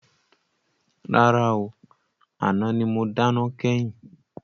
Rárá ooo, àná ni mo dáná kẹ́yìn.